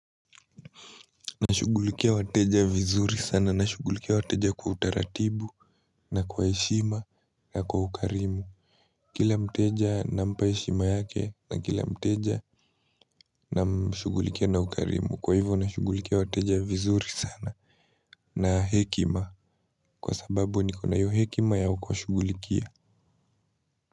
Nashugulikia wateja vizuri sana. Nashugulikia wateja kwa utaratibu na kwa heshima na kwa ukarimu. Kila mteja nampa heshima yake na kila mteja namshugulikia na ukarimu. Kwa hivo nashugulikia wateja vizuri sana na hekima kwa sababu nikona iyo hekima ya kuwashugulikia.